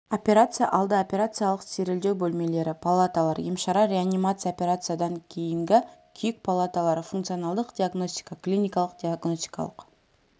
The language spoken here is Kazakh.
операция алды операциялық стерильдеу бөлмелері палаталар емшара реанимация операциядан кейінгі күйік палаталары функционалдық диагностика клиникалық-диагностикалық